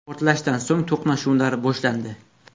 Portlashdan so‘ng to‘qnashuvlar boshlandi.